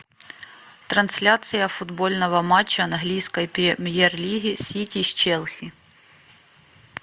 трансляция футбольного матча английской премьер лиги сити с челси